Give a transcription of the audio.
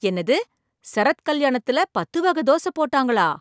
என்னது சரத் கல்யாணத்தில் பத்து வகை தோசை போட்டாங்களா!